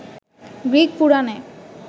Greek পুরাণে